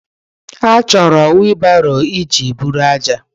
Achọrọ wiilibaro iji eburu ájá.